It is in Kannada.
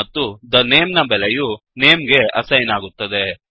ಮತ್ತುthe name ನ ಬೆಲೆಯು ನೇಮ್ ಗೆ ಅಸೈನ್ ಆಗುತ್ತದೆ